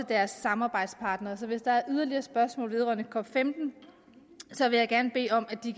deres samarbejdspartnere så hvis der er yderligere spørgsmål vedrørende cop15 vil jeg gerne bede om at de